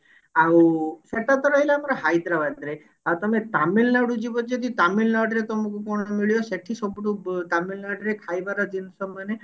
ଆଉ ସେଟା ତ ରହିଲା ଆମର ହାଇଦ୍ରାବାଦ ରେ ଆଉ ତମେ ତାମିଲନାଡୁ ଯିବ ଯଦି ତାମିଲନାଡୁ ରେ ତମକୁ କଣ ନା ମିଳିବ ତମକୁ ସେଠି ତାମିଲନାଡୁ ରେ ଖାଇବାର ଜିନିଷ ମାନେ